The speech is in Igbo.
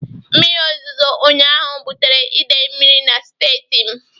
Mmiri ozozo ụnyaahụ bụtara idei mmiri na strịtị m